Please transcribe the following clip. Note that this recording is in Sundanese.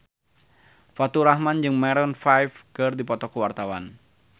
Faturrahman jeung Maroon 5 keur dipoto ku wartawan